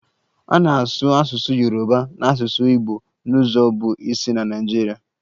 A na-asụ asụsụ Yoruba na asụsụ Igbo n'ụzọ bụ isi na Naịjirịa